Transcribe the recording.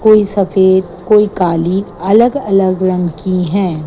कोई सफेद कोई काली अलग अलग रंग की हैं।